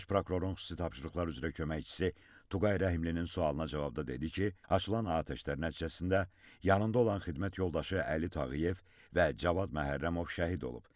Baş prokurorun xüsusi tapşırıqlar üzrə köməkçisi Tuğay Rəhimlinin sualına cavabda dedi ki, açılan atəşlər nəticəsində yanında olan xidmət yoldaşı Əli Tağıyev və Cavad Məhərrəmov şəhid olub.